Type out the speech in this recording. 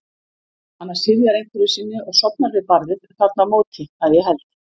Hana syfjar einhverju sinni og sofnar við barðið þarna á móti, að ég held.